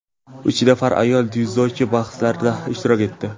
uch nafar ayol dzyudochi bahslarda ishtirok etdi.